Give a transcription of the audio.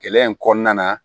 Gɛlɛya in kɔnɔna na